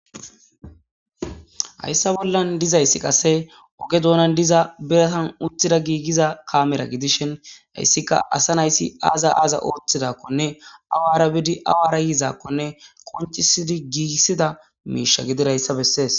Hayisa bollan dizays qase oge dunani diza biratan utida kamera gidishin issi asa na'azi aza othidakone awara bidi awara yidako qoniciseszi gigisiza misha gizoyitha beses